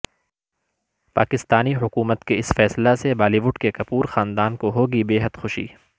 پاکستانی حکومت کےاس فیصلہ سے بالی ووڈ کے کپور خاندان کو ہوگی بےحد خوشی